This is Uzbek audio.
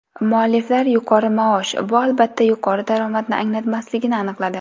Mualliflar yuqori maosh bu albatta yuqori daromadni anglatmasligini aniqladi.